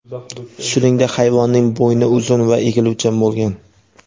Shuningdek, hayvonning bo‘yni uzun va egiluvchan bo‘lgan.